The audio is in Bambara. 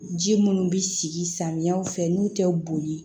Ji munnu bi sigi samiya fɛ n'u tɛ boli